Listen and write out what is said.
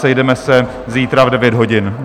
Sejdeme se zítra v 9 hodin.